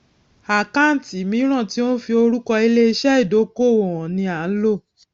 àkáǹtì míràn tí ó n fi orúkọ ilé iṣé ìdókòwò hàn ni à ń lò